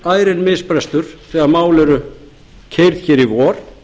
verður ærinn misbrestur þegar mál verða keyrð hér í vor